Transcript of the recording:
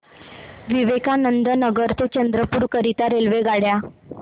विवेकानंद नगर ते चंद्रपूर करीता रेल्वेगाड्या